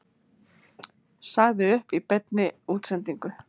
Sagði upp í beinni útsendingu